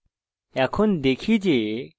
এখন দেখি যে এটি কিভাবে করি